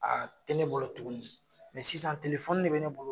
A te ne bolo tuguni sisan de bɛ ne bolo.